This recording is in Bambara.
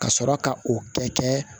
Ka sɔrɔ ka o kɛ